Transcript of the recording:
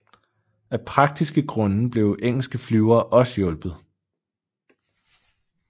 Af praktiske grunde blev engelske flyvere også hjulpet